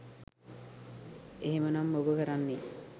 එහෙමනම් ඔබ කරන්නෙ